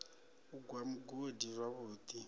u gwa mugodi zwavhu ḓi